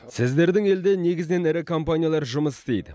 сіздердің елде негізінен ірі компаниялар жұмыс істейді